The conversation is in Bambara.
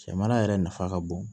Jamana yɛrɛ nafa ka bon